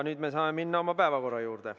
Nüüd me saame minna oma päevakorra juurde.